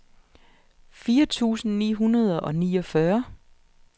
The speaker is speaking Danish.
fire tusind ni hundrede og niogfyrre